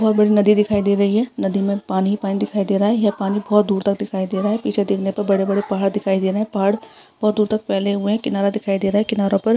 बहोत बड़ी नदी दिखाई दे रही है नदी में पानी ही पानी दिखाई दे रहा है यह पानी बहोत दूर तक दिखाई दे रहा है पीछे देखने पर बड़े-बड़े पहाड़ दिखाई दे रहै हैं पहाड़ बहोत दूर तक फैले हुए हैं किनारा दिखाई दे रहा है किनारो पर --